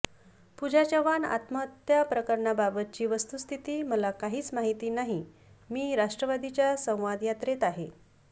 पुजा चव्हाण आत्महत्या प्रकरणाबाबतची वस्तुस्थिती मला काहीच माहिती नाही मी राष्ट्रवादीच्या संवाद यात्रेत आहे